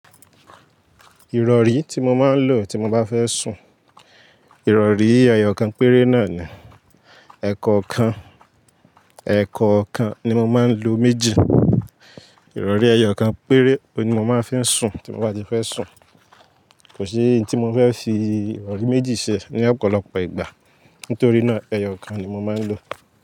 Ìrọ̀rí tí mo máa ń lò tí mo bá fẹ́ sùn, ìrọ̀rí ẹyọ kan péré náà ni. Ẹ̀ẹ̀kọ̀kan, ẹ̀ekọ̀okan ni mo máa ń lo méjì. Ìrọ̀rí ẹyọ kan péré, òun ni mo máa ń fi sùn tí mo bá ti fẹ́ sùn. Kò sí ohun tí mo fẹ́ fi ìrọ̀rí méjì ṣe ní ọ̀pọ̀lọpọ̀ ìgbà. Nítorí náà, ẹyọ kan ni mo máa ń lò.